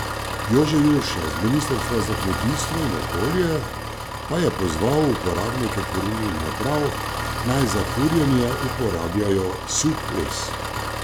Jože Jurša z ministrstva za kmetijstvo in okolje pa je pozval uporabnike kurilnih naprav, naj za kurjenje uporabljajo suh les.